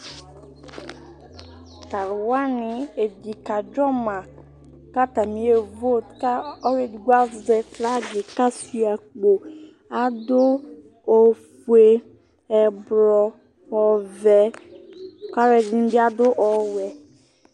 alʊ ɔbʊ dʊ ɩwo fʊ ɔbɛ aʋa ɛdɩnɩ ya nʊ ɔbɛ ayʊ tatse kaaka zɔlɩ ɩwoe ɣɛ kɔ kpletʊnʊnafa